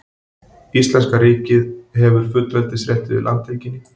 Íslenska ríkið hefur fullveldisrétt yfir landhelginni.